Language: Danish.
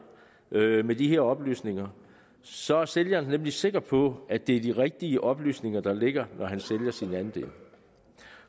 med de her oplysninger så er sælger nemlig sikker på at det er de rigtige oplysninger der ligger når han sælger sin andel